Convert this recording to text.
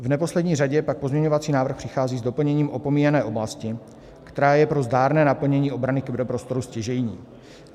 V neposlední řadě pak pozměňovací návrh přichází s doplněním opomíjené oblasti, která je pro zdárné naplnění obrany kyberprostoru stěžejní.